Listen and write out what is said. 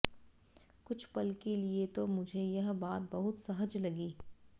कुछ पल के लिए तो मुझे यह बात बहुत सहज लगी